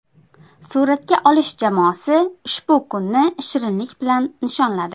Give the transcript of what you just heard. Suratga olish jamoasi ushbu kunni shirinlik bilan nishonladi.